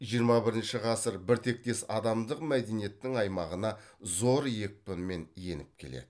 жиырма бірінші ғасыр біртектес адамдық мәдениеттің аймағына зор екпінмен еніп келеді